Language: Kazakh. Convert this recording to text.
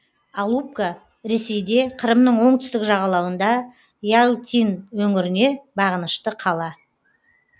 алупка ресейде қырымның оңтүстік жағалауында ялтин өңіріне бағынышты қала